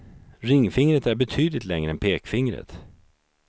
Ringfingret är betydligt längre än pekfingret.